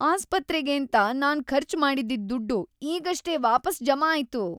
ಆಸ್ಪತ್ರೆಗೇಂತ ನಾನ್ ಖರ್ಚ್‌ ಮಾಡಿ‌ದ್ದಿದ್‌ ದುಡ್ಡು ಈಗಷ್ಟೇ ವಾಪಸ್‌ ಜಮಾ ಆಯ್ತು!